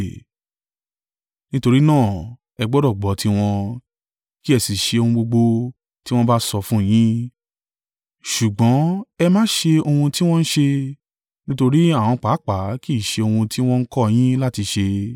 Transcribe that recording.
nítorí náà, ẹ gbọdọ̀ gbọ́ tiwọn, kí ẹ sì ṣe ohun gbogbo tí wọ́n bá sọ fún yín. Ṣùgbọ́n ẹ má ṣe ohun tí wọ́n ṣe, nítorí àwọn pàápàá kì í ṣe ohun tí wọn kọ́ yín láti ṣe.